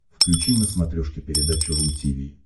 включи на смотрешке передачу ру ти ви